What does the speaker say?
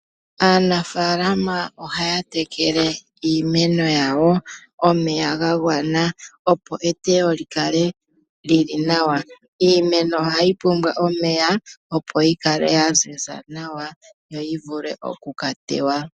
Aanafaalama ohaya tekele iimeno yawo omeya ga gwana opo eteyo li kale li li nawa. Iimeno ohayi pumbwa omeya opo yi kale ya ziza nawa, yo yi vule oku ka teywa.